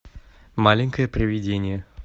маленькое привидение